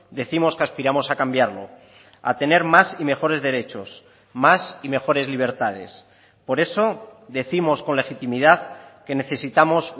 décimos que aspiramos a cambiarlo a tener más y mejores derechos más y mejores libertades por eso décimos con legitimidad que necesitamos